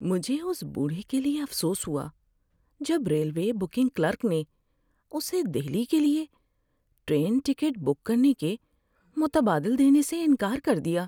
مجھے اس بوڑھے کے لیے افسوس ہوا جب ریلوے بکنگ کلرک نے اسے دہلی کے لیے ٹرین ٹکٹ بک کرنے کے متبادل دینے سے انکار کر دیا۔